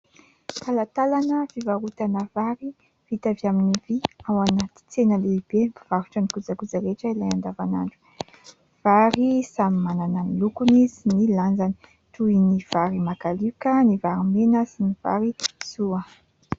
Talatalana fivarotana vary vita avy amin'ny vy ao anaty tsena lehibe mpivarotra ny kojakoja rehetra ilana andavan'andro ; vary samy manana ny lokony sy ny lanjany toy ny vary makalioka, ny vary mena sy ny vary soa.